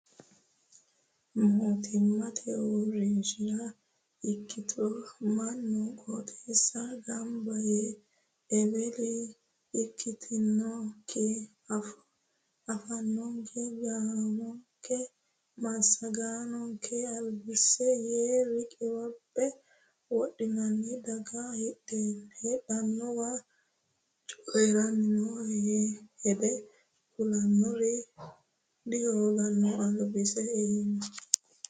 Mootimmate uurrinshara ikkitto mannu qooxeessa gamba yee eweli ikkittonke afoonke gaamonke massagonke albise yee riqiphe wodheenna dagate hidanawe coyiranni no hede ku'lanori dihoogino albisi iima